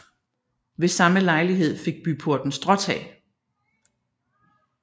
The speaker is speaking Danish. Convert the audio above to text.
Ved samme lejlighed fik byporten stråtag